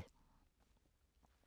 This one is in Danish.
DR2